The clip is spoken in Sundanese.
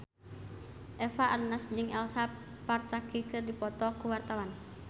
Eva Arnaz jeung Elsa Pataky keur dipoto ku wartawan